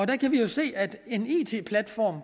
kan vi jo se at for en it platform